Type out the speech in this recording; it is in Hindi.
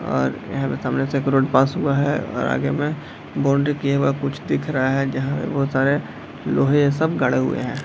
और यहाँ से सामने से एक रोड पास हुआ है और आगे में बाउंड्री किया हुआ कुछ दिख रहा है जहाँ बहुत सारे लोहे ये सब गड़े हुए हैं ।